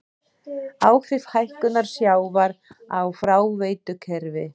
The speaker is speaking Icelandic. Áhrif hækkunar sjávar á fráveitukerfi.